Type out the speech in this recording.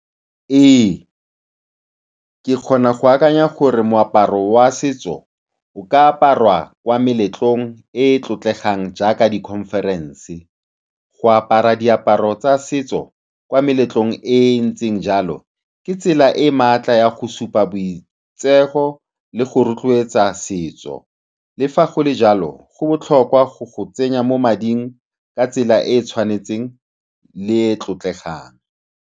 Ee, ke kgona go akanya gore moaparo wa setso o ka aparwa kwa meletlong e e tlotlegang jaaka di-conference. Go apara diaparo tsa setso kwa meletlong e e ntseng jalo ke tsela e e maatla ya go supa boitshepo le go rotloetsa setso. Le fa go le jalo, go botlhokwa go go tsenya mo mading ka tsela e e tshwanetseng le e e tlotlegang.